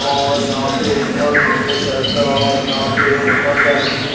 और यहां पे ऊपर नीचे शेल्फ है और यहां पे ऊपर जाने के लिए--